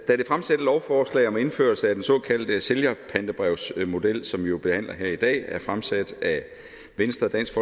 da det fremsatte lovforslag om indførelse af den såkaldte sælgerpantebrevsmodel som vi jo behandler her i dag er fremsat af venstre dansk